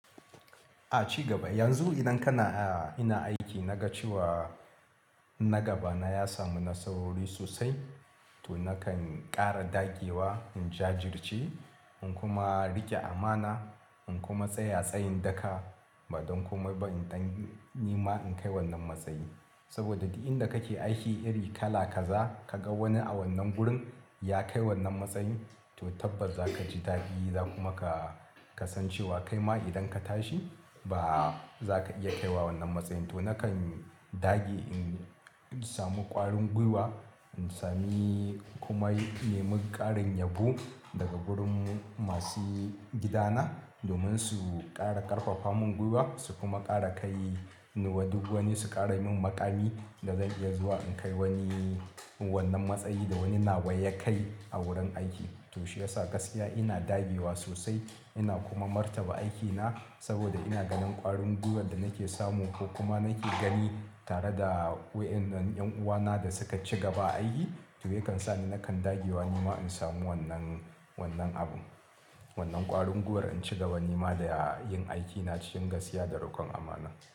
A cigaba, yanzu idan kana, ina aiki na ga cewa na gaba na ya samu nasarori sosai to nakan ƙara dagewa, in jajirce, in kuma riƙe amana, in kuma tsaya tsayin daka, ba don komai ba in ɗan, nima in kai wannan matsayi. Saboda duk inda kake aiki iri kala kaza, ka ga wani a wannan gurin ya kai wannan matsayin, to tabbas za ka ji daɗi za kuma ka san cewa kaima idan ka tashi, ba, za ka iya kai wa wannan matsayin. To nakan dage in samu ƙwarin gwiwa, in sami kuma neman ƙarin yabo daga gurin masu gidana domin su ƙara ƙarfafa mun gwiwa su kuma ƙara kai ni wa duk wani su ƙara min maƙami da zan iya zuwa in kai wani wannan matsayi da wani na wa ya kai a wurin aiki. To shi ya sa gaskiya ina dagewa sosai, ina kuma martaba aikina saboda ina ganin ƙwarin gwiwar da nake samu ko kuma nake gani tare da waƴen nan ƴan uwana da suka ci gaba a aiki, to yakan sa ni nakan dagewa nima in samu wannan, wannan abun. Wannan ƙwarin gwiwar in ci gaba nima da yin aikina cikin gaskiya da riƙon amana.